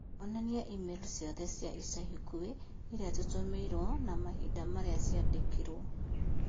onania i-mīrū ciothe cia ica ikuhĩ irĩa tũtũmĩirũo na mahinda marĩa ciandĩkĩirũo